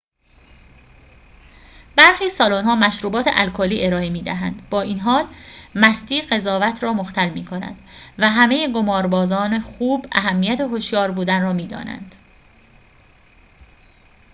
برخی سالن‌ها مشروبات الکلی ارائه می دهند با این حال مستی قضاوت را مختل می کند و همه قماربازان خوب اهمیت هوشیار بودن را می دانند